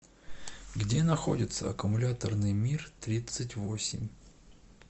где находится аккумуляторный миртридцатьвосемь